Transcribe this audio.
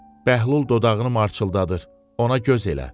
Bəhlul dodağını marçıldadır, ona göz elə.